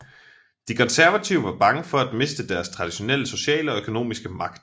De konservative var bange for at miste deres traditionelle sociale og økonomiske magt